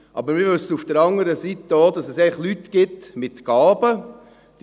Aber wir wissen auf der anderen Seite auch, dass es einfach Leute mit Gaben gibt.